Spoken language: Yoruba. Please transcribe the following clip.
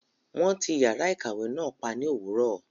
Wọn tí yàrá ìkàwé náà pa ní òwúrọ̀.